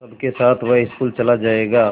सबके साथ वह स्कूल चला जायेगा